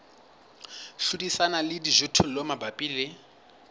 hlodisana le dijothollo mabapi le